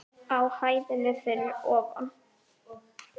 Á hæðinni fyrir ofan.